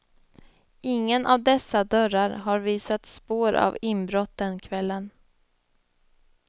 Ingen av dessa dörrar har visat spår av inbrott den kvällen.